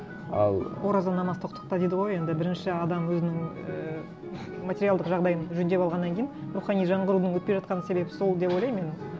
ал ораза намаз тоқтықта дейді ғой енді бірінші адам өзінің ііі материалдық жағдайын жөндеп алғаннан кейін рухани жаңғырудың өтпей жатқан себебі сол деп ойлаймын мен